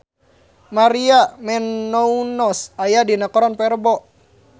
Maria Menounos aya dina koran poe Rebo